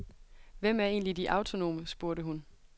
Hvem er egentlig de autonome, spurgte hun.